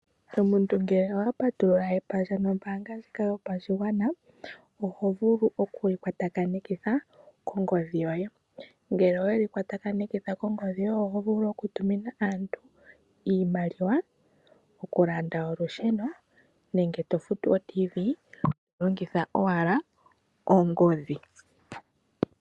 Omuntu ngele owa patulula epandja nOmbaanga ndjika yopashigwana, oho vulu okuyi kwatakanitha kongodhi yoye . Ngele oweyi kwatakanitha kongodhi oho vulu oku tumina aantu iimaliwa, oku landa olusheno nenge to futu oTiivi to longitha owala ongodhi